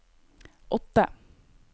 åtte